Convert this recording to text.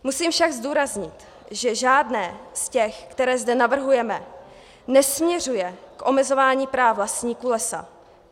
Musím však zdůraznit, že žádné z těch, která zde navrhujeme, nesměřuje k omezování práv vlastníků lesa.